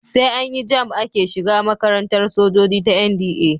Sai an yi JAMB ake shiga makarantar sojoji ta NDA.